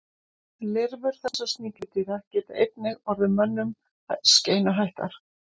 Lirfur þessara sníkjudýra geta einnig orðið mönnum skeinuhættar.